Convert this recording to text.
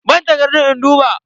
Bani takardun in duba.